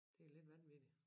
Det lidt vanvittigt